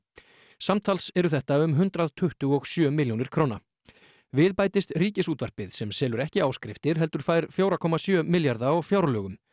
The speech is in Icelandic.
samtals eru þetta um hundrað tuttugu og sjö milljónir við bætist Ríkisútvarpið sem selur ekki áskriftir heldur fær fjögurra komma sjö milljarða á fjárlögum